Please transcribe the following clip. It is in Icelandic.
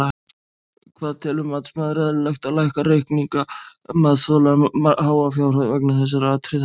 Hvað telur matsmaður eðlilegt að lækka reikninga matsþola um háa fjárhæð vegna þessara atriða?